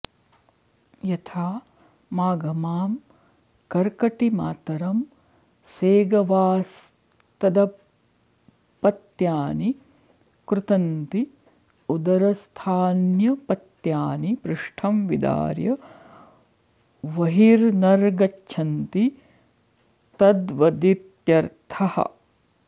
यथा माघमां कर्कटी मातरं सेगवास्तदपत्यानि कृन्तन्ति उदरस्थान्यपत्यानि पृष्ठं विदार्य वहिर्नर्गच्छन्ति तद्वदित्यर्थः